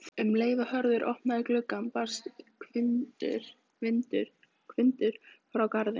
Um leið og Hörður opnaði gluggann barst hvinur frá garðinum.